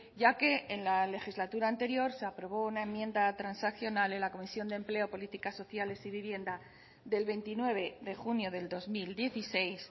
ya que en la legislatura anterior se aprobó una enmienda transaccional en la comisión de empleo políticas sociales y vivienda del veintinueve de junio del dos mil dieciséis